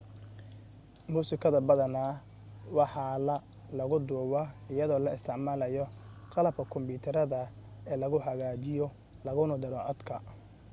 musikada badana waxaa la lagu duuba iyadoo la isticmalayo qalabka kombuterada ee lagu hagaajiyo laguna daro codka